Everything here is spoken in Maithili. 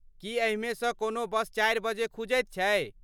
की एहिमे सँ कोनो बस चारि बजे खुजैत छै ?